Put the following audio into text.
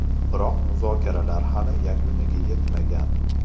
Biroq muzokaralar hali yakuniga yetmagan.